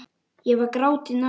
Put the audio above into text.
Ég var gráti nær.